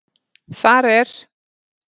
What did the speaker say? Þar er